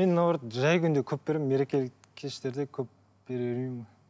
мен наоборот жай күнде көп беремін мерекелік кештерде көп бере бермеймін ғой